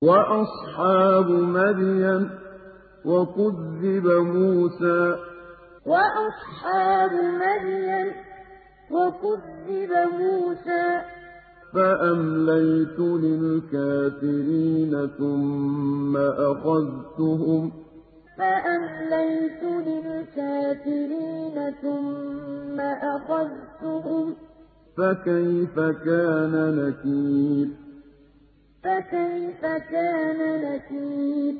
وَأَصْحَابُ مَدْيَنَ ۖ وَكُذِّبَ مُوسَىٰ فَأَمْلَيْتُ لِلْكَافِرِينَ ثُمَّ أَخَذْتُهُمْ ۖ فَكَيْفَ كَانَ نَكِيرِ وَأَصْحَابُ مَدْيَنَ ۖ وَكُذِّبَ مُوسَىٰ فَأَمْلَيْتُ لِلْكَافِرِينَ ثُمَّ أَخَذْتُهُمْ ۖ فَكَيْفَ كَانَ نَكِيرِ